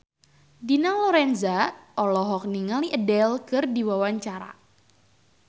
Dina Lorenza olohok ningali Adele keur diwawancara